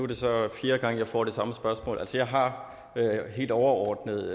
det så fjerde gang jeg får det samme spørgsmål jeg har helt overordnet